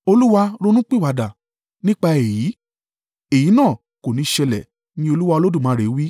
Olúwa ronúpìwàdà nípa èyí. “Èyí náà kò ní ṣẹlẹ̀,” ni Olúwa Olódùmarè wí.